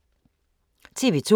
TV 2